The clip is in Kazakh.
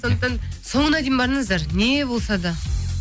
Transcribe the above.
сондықтан соңына дейін барыңыздар не болса да